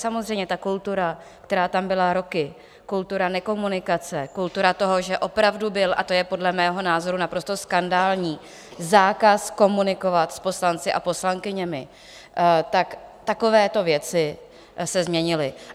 Samozřejmě ta kultura, která tam byla roky, kultura nekomunikace, kultura toho, že opravdu byl - a to je podle mého názoru naprosto skandální - zákaz komunikovat s poslanci a poslankyněmi, tak takovéto věci se změnily.